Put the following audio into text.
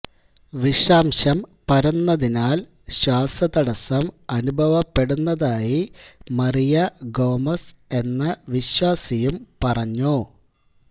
വിഷാംശം പരന്നതിനാല് ശ്വാസ തടസ്സം അനുഭവപ്പെടുന്നതായി മറിയ ഗോമസ് എന്ന വിശ്വാസിയും പറഞ്ഞു